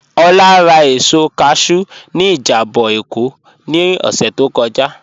Ọlá rà èsọ̀ káshù ní ìjàbọ̀ Ékó ní ọ̀ṣẹ̀ tó kọ́jà.